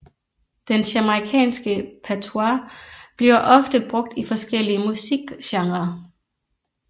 Den jamaicanske patois bliver ofte brugt i forskellige musikgenrer